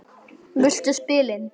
Litlu spilin.